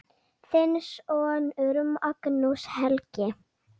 Þinn sonur, Magnús Helgi.